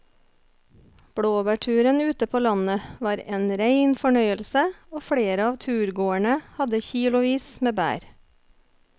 Blåbærturen ute på landet var en rein fornøyelse og flere av turgåerene hadde kilosvis med bær.